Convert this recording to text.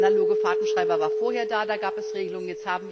Der analoge Fahrtenschreiber war vorher da, da gab es Regelungen.